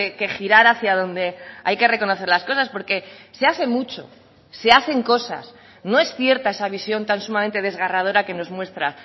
que girar hacía donde hay que reconocer las cosas porque se hace mucho se hacen cosas no es cierta esa visión tan sumamente desgarradora que nos muestra